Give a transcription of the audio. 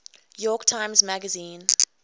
york times magazine